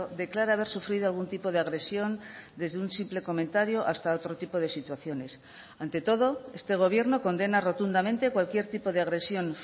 declara haber sufrido algún tipo de agresión desde un simple comentario hasta otro tipo de situaciones ante todo este gobierno condena rotundamente cualquier tipo de agresión